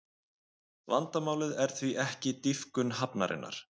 Vandamálið er því ekki dýpkun hafnarinnar